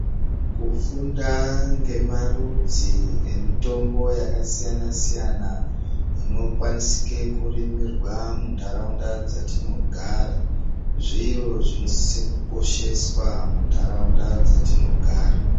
Kufunda ngemarudzi emitombo yakasiyana-siyana, dzinokwanisika kurimirwa mundaraunda dzatinogara, zviro zvinosise kukosheswa mundaraunda dzatinogara.